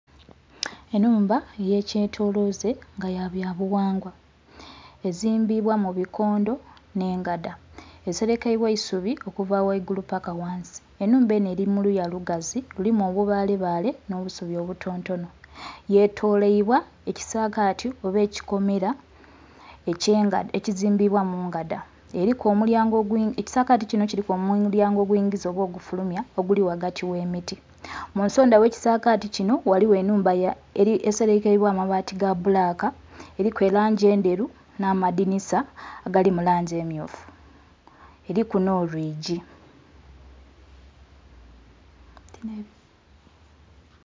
Enhumba eyekyetolooze nga yabyabuwangwa ezimbibwa mubikondho n'engadha, eserekaibwa eisubi okuva waigulu paka wansi. Enhumba eno eri muluya lugazi lulimu obubale baale n'obusubi obutonotono yetolerwa ekisagati oba ekikomera ekizimbibwa mungadha, eriku omulyango... Ekisagati kino kiriku omulyango ogwiingiza oba ogufulumwa oguli wagati wemiti munsondha wekisagati kino ghaligho enhumba eserekaibwa abaati gabbulaka eriku erangi endheru n'amadhinisa agali mulangi emmyufu eriku n'olwiigi.